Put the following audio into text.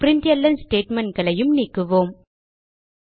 println statementகளையும் நீக்குவோம்